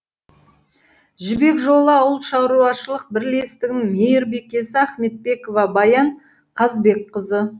жібек жолы ауылшаруашылық бірлестігінің мейірбикесі ахметбекова баян қазбекқызы